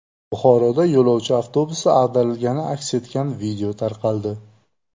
Buxoroda yo‘lovchi avtobusi ag‘darilgani aks etgan video tarqaldi.